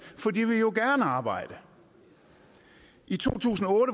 for de vil jo gerne arbejde i to tusind og